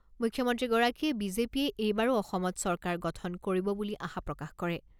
মুখ্যমন্ত্ৰীগৰাকীয়ে বিজেপিয়ে এইবাৰো অসমত চৰকাৰ গঠন কৰিব বুলি আশা প্ৰকাশ কৰে।